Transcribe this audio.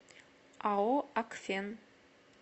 ао акфен